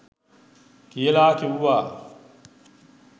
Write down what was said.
කියලා කිව්වා.